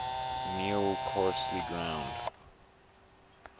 meal coarsely ground